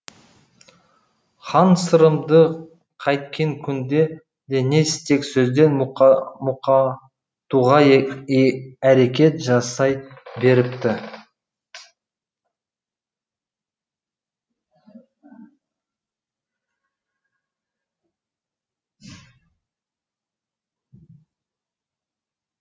хан сырымды қайткен күнде де не істен не сөзден мұқатуға әрекет жасай беріпті